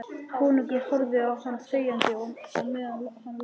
Konungur horfði á hann þegjandi á meðan hann las: